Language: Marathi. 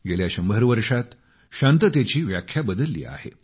गेल्या 100 वर्षांत शांततेची व्याख्या बदलली आहे